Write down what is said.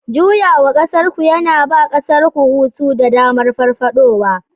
Juyawa ƙasarku yana ba ƙasarku hutu da damar farfadowa